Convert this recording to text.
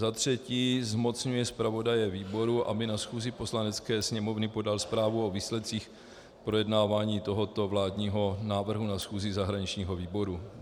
Za třetí zmocňuje zpravodaje výboru, aby na schůzi Poslanecké sněmovny podal zprávu o výsledcích projednávání tohoto vládního návrhu na schůzi zahraničního výboru.